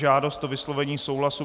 Žádost o vyslovení souhlasu